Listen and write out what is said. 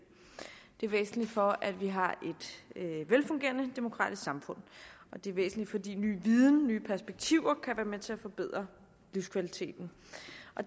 det er væsentligt for at vi har et velfungerende demokratisk samfund og det er væsentligt fordi ny viden og nye perspektiver kan være med til at forbedre livskvaliteten